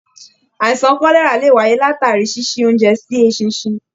Àìsàn kọlẹra lè wáyé latari ṣiṣi oúnjẹ sí eṣinṣin.